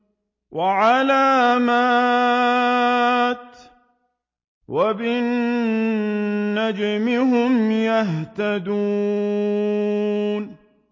وَعَلَامَاتٍ ۚ وَبِالنَّجْمِ هُمْ يَهْتَدُونَ